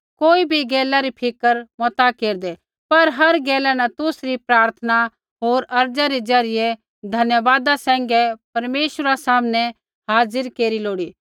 कोई भी गैला री फिक्र मता केरदै पर हर गैला न तुसरी प्रार्थना होर अर्ज़ा री ज़रियै धन्यवाद सैंघै परमेश्वरा सामनै हाज़िर केरी लोड़ी